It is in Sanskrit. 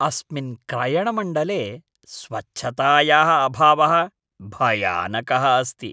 अस्मिन् क्रयणमण्डले स्वच्छतायाः अभावः भयानकः अस्ति।